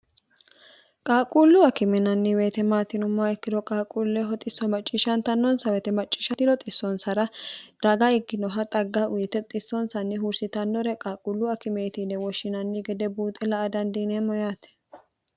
qaaquullu akime yinanni weyite maati yinummoha ikkiro qaaquulleho xisso macciishshantannonsa woyite macciishantino xissoonsara raga ikkinoha xagga uyite xissoonsanni huursitannore qaaquullu akimeeti yine woshshinanni gede buuxe la''a dandiineemmo yaate